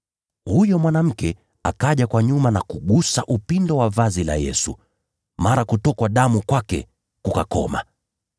Huyo mwanamke akaja kwa nyuma ya Yesu na kugusa upindo wa vazi lake. Mara kutokwa damu kwake kukakoma.